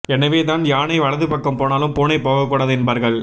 எனவே தான் யானை வலது பக்கம் போனாலும் பூனை போகக்கூடாது என்பார்கள்